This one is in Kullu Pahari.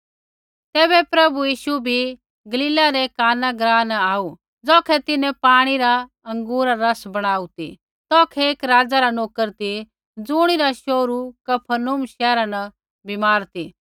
तैबै प्रभु यीशु भी गलीला रै काना ग्राँ न आऊ ज़ौखै तिन्हैं पाणी रा अँगूरा रा रस बणाऊ ती तौखै एक राज़ा रा नोकर ती ज़ुणिरा शोहरू कफरनहूम शैहरा न बीमार ती